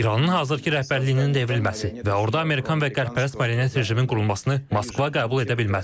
İranın hazırkı rəhbərliyinin devrilməsi və orada Amerikanın marionet rejiminin qurulmasını Moskva qəbul edə bilməz.